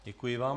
Děkuji vám.